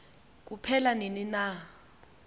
kuphela nini na